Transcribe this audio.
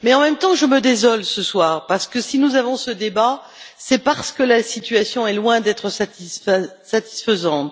Mais, en même temps, je me désole ce soir parce que, si nous avons ce débat, c'est parce que la situation est loin d'être satisfaisante.